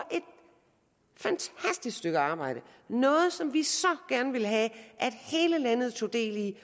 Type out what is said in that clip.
et fantastisk stykke arbejde noget som vi så gerne ville have at hele landet tog del i